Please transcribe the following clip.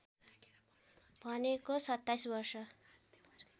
भनेको २७ वर्ष